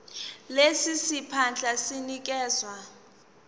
lesi siphandla sinikezwa